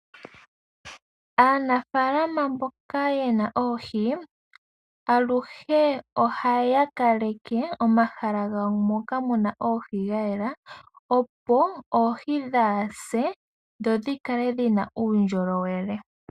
Aanafalama mboka yena oohi aluhe ohaya kaleke omahala gawo moka muna oohi gayela opo oohi kadhi se dho dhikale dhina uundjolowele.